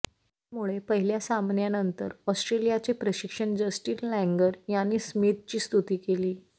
त्यामुळे पहिल्या सामन्यानंतर ऑस्ट्रेलियाचे प्रशिक्षक जस्टिन लँगर यांनी स्मिथची स्तुती केली